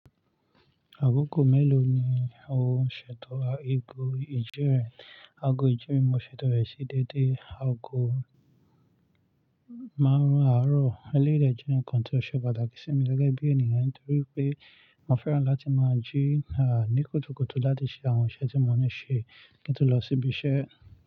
Àkókò mélòó ni o ń ṣètò ago ìjẹrin? Ago ìjíni mo ṣètò rẹ̀ sí dédé ago márùn-ún àárọ̀. Eléyìí dẹ̀ jẹ́ ǹkan tó ṣe pàtàkì sí mi gẹ́gẹ́ bí ènìyàn nítorí pé mo fẹ́ran láti máa jí há ní kùtùkùtù láti ṣe àwọn iṣẹ́ tí mo ní ṣe kí n tó lọ síbi iṣẹ́.